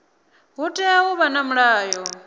hu tea u vha na mulayo